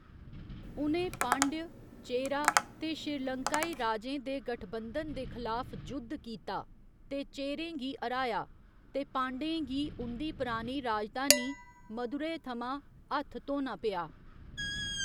उ'नें पांड्य, चेरा ते श्रीलंकाई राजें दे गठबंधन दे खलाफ जुद्ध कीता ते चेरें गी हराया ते पांड्यें गी उं'दी परानी राजधानी मदुरै थमां 'हत्थ धोना पेआ'।